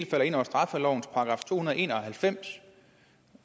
falder ind under straffelovens § to hundrede og en og halvfems